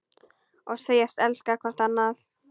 Og segjast elska hvort annað.